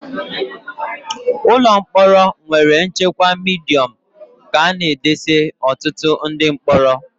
Ụlọ mkpọrọ nwere nchekwa Midiọm ka a na edesa ọtụtụ ndị mkpọrọ